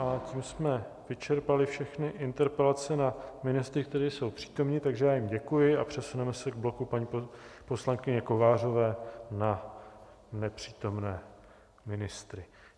A tím jsme vyčerpali všechny interpelace na ministry, kteří jsou přítomni, takže já jim děkuji a přesuneme se k bloku paní poslankyně Kovářové na nepřítomné ministry.